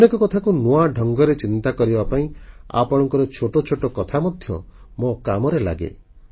ଅନେକ କଥାକୁ ନୂଆ ଢଙ୍ଗରେ ଚିନ୍ତା କରିବା ପାଇଁ ଆପଣଙ୍କ ଛୋଟ ଛୋଟ କଥା ମଧ୍ୟ ମୋ କାମରେ ଲାଗେ